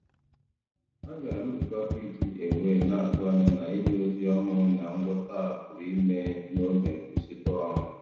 A gara m nzukọ PTA wee na-atụ anya na Inye ozi ọhụrụ na ngwọta a pụrụ ime n'oge nkwụsịtụ ọrụ.